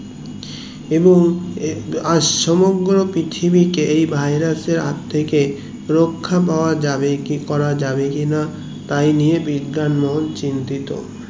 এবং আর সমগ্র পৃথিবীকে এই virus এর হাত থেকে রাখা পাওয়া যাবে কিনা তাইনিয়ে বিজ্ঞান মোহন চিন্তিত